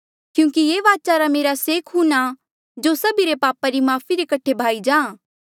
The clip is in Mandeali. क्यूंकि ये वाचा रा मेरा से खून आ जो सभी रे पापा री माफ़ी रे कठे बहाया जाहाँ